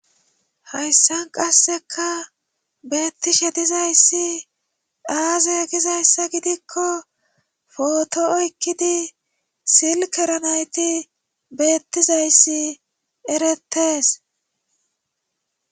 Hayssan qasseka beettishe dizayssi daazeegizayssa gidikko footo oykkidi silkeranayti beettizayssi erettees.